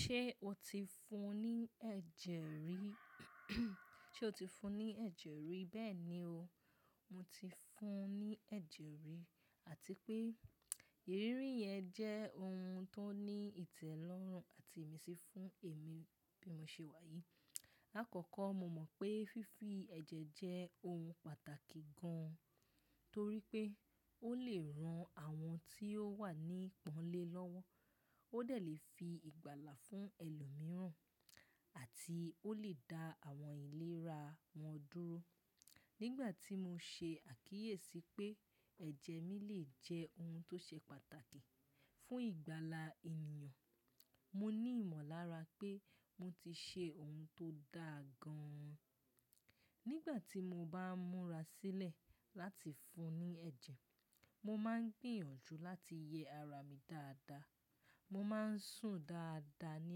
Ṣé o ti fún ní ẹ̀jẹ̀ rí? Ṣé o ti fún ní ẹ̀jẹ̀ rí? Bẹ́ẹ̀ni o, mo ti fún ní ẹ̀jẹ̀ rí àti pé ìrírí yẹn jẹ́ ohun tó ní ìtẹ́lọ́rùn àti ìmísí fún èmi bí mo ṣe wà yìí. LÀkọ́kọ́ mo mọ̀ pé fífi ẹ̀jẹ̀ jẹ́ ohun pàtàkì gan torí pé ó lè ran àwọn tí ó wà ní ìpọ́nlé lọ́wọ́, ó dẹ̀ lè fi ìgbàlà fún ẹlòmíràn àti ó lè da àwọn ìlera wọn dúró. Nígbà tí mo ṣe àkíyèsí pé ẹ̀jẹ̀ mi lè jẹ́ ohun tó ṣe pàtàkì fún ìgbàlà ènìyàn, mo ní ìmọ̀lára pé mo ti ṣe ohun tó dàa gan. Nígbà tí mo bá ń múra sílẹ̀ láti fún ní ẹ̀jẹ̀, mo máa ń gbìyànjú láti yẹ ara mi dáadáa. Mo máa ń sùn dáadáa ní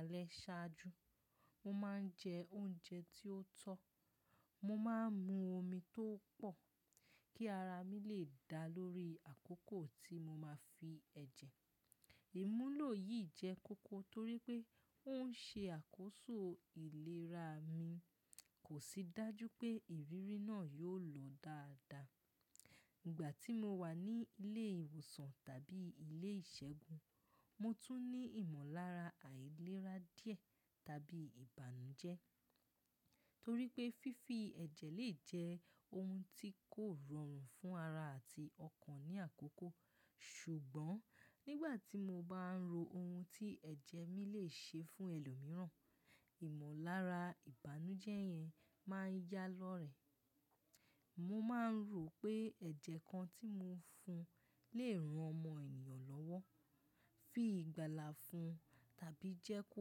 alẹ́ ṣáájú, mo máa ń jẹ oúnjẹ tí ó tọ́, mo máa ń mu omi tó pọ̀ kí ara mi lè da lórí àkókò tí mo máa fi ẹ̀jẹ̀. Ìmúlò yìí jẹ́ koko torí pé ó ń ṣe àkóso ìlera mi, kò sì dájú pé ìrírí náà yóò lọ dáadáa. Ìgbà tí mo wà ní ilé ìwòsàn tàbí ilé ìṣẹ́gun, mo tún ní ìmọ̀lára àìlera díẹ̀ tàbí ìbànújẹ́ torí pé fífi ẹ̀jẹ̀ lè jẹ́ ohun tí kò rọrùn fún ara àti ọkàn ní àkókò. Ṣùgbọ́n nígbà tí mo bá ń ro ohun tí ẹ̀jẹ̀ mi lè ṣe fún ẹlòmíràn, ìmọ̀lára ìbànújẹ́ yẹn máa ń yá lọ́rẹẹ̀. Mo máa ń rò pé ẹ̀jẹ̀ kan tí mo fún lè ran ọmọ ènìyàn lọ́wọ́, fi ìgbàlà fún tàbí jẹ́ kó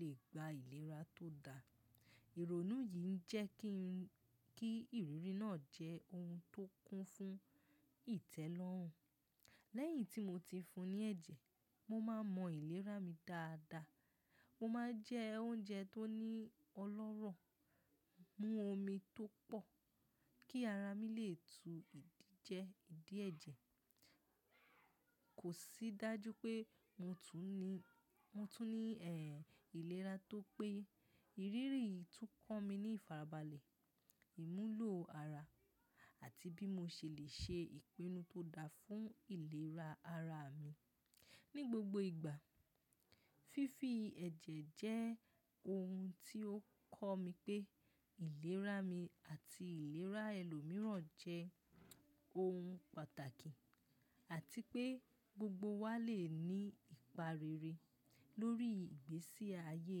lè gba ìlera tó da. Ìrònú yìí ń jẹ́ kí ń-- kí ìrírí náà jẹ́ ohun tó kún fún ìtẹ́lọ́rùn. Lẹ́yìn tí mo ti fún ní ẹ̀jẹ̀, mo máa mọ ìlera mi dáadáa. Mo máa jẹ oúnjẹ tó ní ọlọ́rọ̀, mú omi tó pọ̀ kí ara mi lè tu ìdíje ìdíẹ̀jẹ̀. Kò sí dájú pé mo tún ní, mo tún ní, ẹ́, ìlera tó pé. Ìrírí yìí tún kọ́ mi ní ìfarabalẹ̀, ìmúlò ara àti bí mo ṣe lè ṣe ìpinnu tó daa fún ìlera ara mi ní gbogbo ìgbà. Fífi ẹ̀jẹ̀ jẹ́ ohun tí ó kọ́ mi pé ìlera mi àti ìlera ẹlòmíràn jẹ́ ohun pàtàkì àti pé gbogbo wa lè ní ìpa rere lórí ìgbésí ayé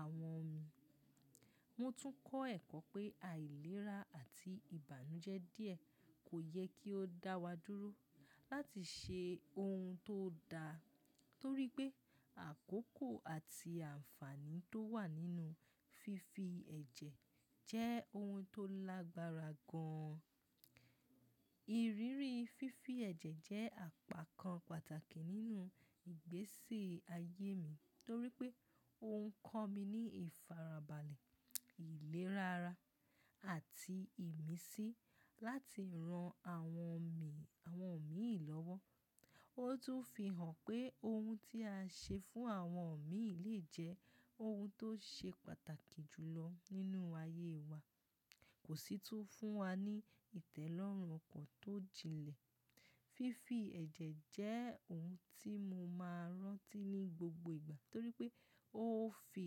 àwọn mi. Mo tún kọ́ ẹ̀kọ́ pé àìlera àti ìbànújẹ́ díẹ̀ kò yẹ kí ó dá wa dúró láti ṣe ohun tó da torí pé àkókò àti àǹfààní tó wà nínú fífi ẹ̀jẹ̀ jẹ́ ohun tó lágbára gan. Ìrírí fífi ẹ̀jẹ̀ jẹ́ àpakan pàtàkì nínú ìgbésí ayé mi torí pé ó ń kọ́ mi ní ìfarabalẹ̀, ìlera ara àti ìmísí láti ran àwọn mi, àwọn òmíì lọ́wọ́. Ó tún fi hàn pé ohun tí a ṣe fún àwọn òmíì lè jẹ́ ohun tó ṣe pàtàkì jùlọ nínú ayé wa, kò sì tún fún wa ní ìtẹ́lọ́rùn ọkàn tó jinlẹ̀. Fífi ẹ̀jẹ̀ jẹ́ ohun tí mo máa rántí ní gbogbo ìgbà torí pé ó fi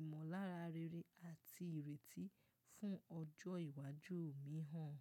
ìmọ̀lára rere àti ìrètí fún ọjọ́ ìwájú mi hàn.